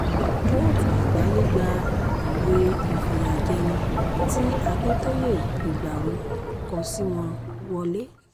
kóòtù àgbàáyé gba ìwé ìfìyàjẹni tí akintóye ìgbárò kọ sí wọn wọ́lẹ̀